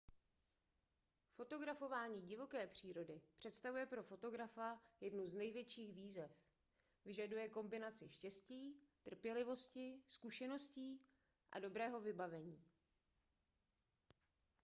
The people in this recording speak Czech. fotografování divoké přírody představuje pro fotografa jednu z největších výzev vyžaduje kombinaci štěstí trpělivosti zkušeností a dobrého vybavení